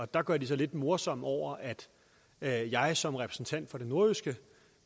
der gør de sig lidt morsomme over at jeg som repræsentant for det nordjyske